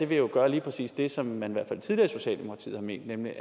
vil jo gøre lige præcis det som man i hvert fald tidligere i socialdemokratiet har ment nemlig